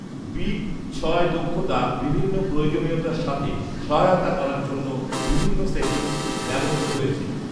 big ছয় দক্ষতা বিভিন্ন প্রয়োজনীয়তার সাথে সহায়তা করার জন্য বিভিন্ন সেটিংসে ব্যবহৃত হয়েছে